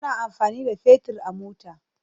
Ana amfani da fetir a mota.